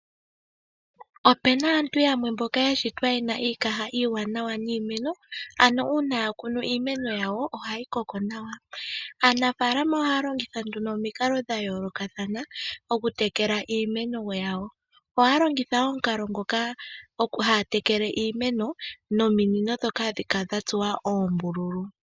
Opena aantu yamwe mboka ya shitwa yena iikaha iiwanawa niimeno, ano uuna akunu iimeno yawo ohayi koko nawa. Aanafalama ohaya longitha nduno omikalo dha yoolokathana okutekela iimeno yawo, ohaya longitha omukalo ngoka haya tekele iimeno nominino dhoka hadhi kala dha tsuwa ombululu.